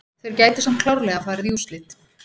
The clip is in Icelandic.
Þeir gætu samt klárlega farið í úrslit.